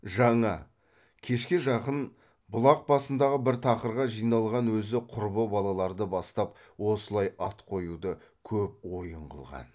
жаңа кешке жақын бұлақ басындағы бір тақырға жиналған өзі құрбы балаларды бастап осылай ат қоюды көп ойын қылған